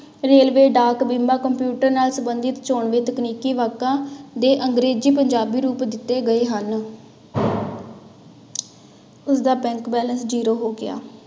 Railway, ਡਾਕ, ਬੀਮਾ, computer ਨਾਲ ਸੰਬੰਧਿਤ ਚੌਣਵੀ ਤਕਨੀਕੀ ਵਾਕਾਂ ਦੇ ਅੰਗਰੇਜ਼ੀ ਪੰਜਾਬੀ ਰੂਪ ਦਿੱਤੇ ਗਏ ਹਨ ਉਸਦਾ bank balance zero ਹੋ ਗਿਆ।